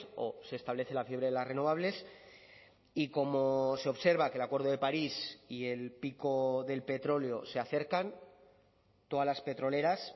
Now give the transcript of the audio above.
o se establece la fiebre de las renovables y como se observa que el acuerdo de paris y el pico del petróleo se acercan todas las petroleras